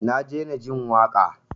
Na daina jin waƙa.